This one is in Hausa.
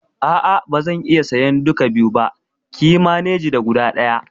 A'a bazan iya sayan duka biyu ba, kiyi maneji da guda ɗaya